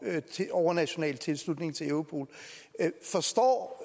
overnational tilslutning til europol forstår